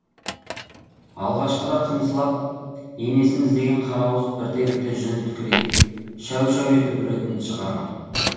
алғашқыда қыңсылап енесін іздеген қара ауыз бірте бірте жүні тікірейіп шәу шәу етіп үретінді шығарған